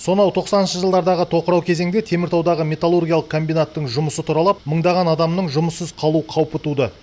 сонау тоқсаныншы жылдардағы тоқырау кезеңде теміртаудағы металлургиялық комбинаттың жұмысы тұралап мыңдаған адамның жұмыссыз қалу қаупі туды